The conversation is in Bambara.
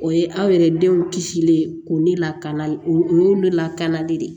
O ye aw yɛrɛ denw kisilen ye ko ne lakana o o y'olu lakana de ye